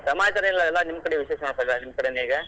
ಸಮಾಚಾರ ಏನಿಲ್ಲ ನಿಮ್ ಕಡೆ ವಿಶೇಷ ಎಲ್ಲ ನಿಮ್ ಕಡೆನೇ ಈಗ.